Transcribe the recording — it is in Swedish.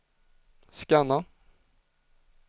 scanna